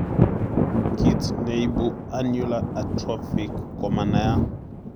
Kiit neibu annular atrophic komanaiyat